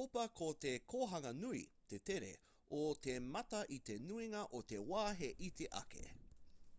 topa ko te kohanga nui te tere o te mata i te nuinga o te wā he iti ake